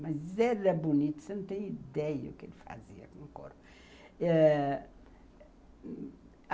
Mas era bonito, você não tem ideia do que ele fazia com o couro